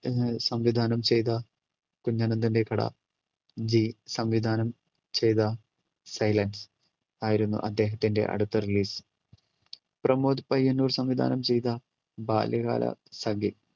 സംവിധാനം ചെയ്ത കുഞ്ഞനന്തന്റെ കട G സംവിധാനം ചെയ്ത സൈലൻസ് ആയിരുന്നു അദ്ദേഹത്തിൻറെ അടുത്ത release. പ്രമോദ് പയ്യന്നൂർ സംവിധാനം ചെയ്ത ബാല്യകാലസഖി,